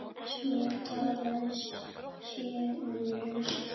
Svo talað sé um rusl.